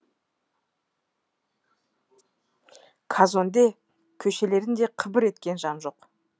казонде көшелерінде қыбыр еткен жан жоқ